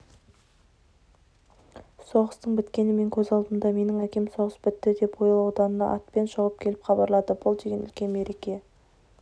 соғыстың біткені менің көз алдымда менің әкем соғыс бітті деп ойыл ауданынан атпен шауып келіп хабарлады бұл деген үлкен мереке